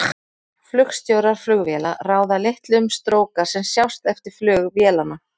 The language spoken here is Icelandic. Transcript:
Flugstjórar flugvéla ráða litlu um stróka sem sjást eftir flug vélanna.